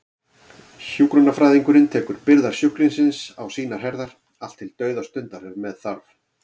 Hjúkrunarfræðingurinn tekur byrðar sjúklingsins á sínar herðar, allt til dauðastundar ef með þarf.